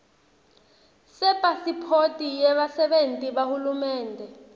sepasiphothi yebasebenti bahulumende